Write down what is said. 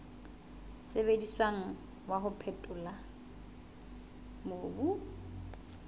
sebediswang wa ho phethola mobu